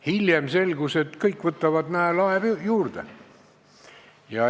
Hiljem selgus, et kõik võtavad, näe, lae lähedale.